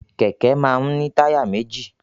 Kẹ̀kẹ́ máa ń ní táyà méjì.